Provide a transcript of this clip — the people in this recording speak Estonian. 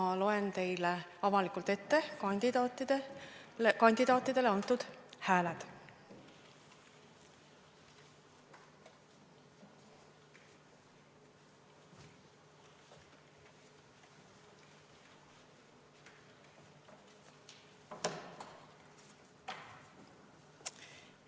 Ma loen teile avalikult ette kandidaatidele antud hääled.